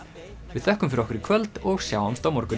við þökkum fyrir okkur í kvöld og sjáumst á morgun